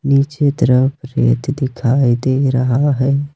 नीचे तरफ रेत दिखाई दे रहा है।